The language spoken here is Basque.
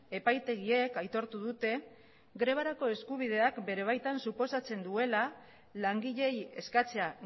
epaitegiek aitortu dute grebarako eskubideak bere baitan suposatzen duela langileei eskatzea